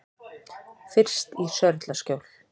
Fyrst í Sörlaskjól.